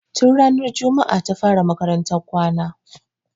Tun ranar jumaa ta fara makarantan kwana.